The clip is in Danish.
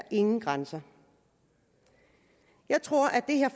ingen grænser jeg tror at det her